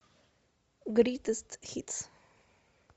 гритест хитс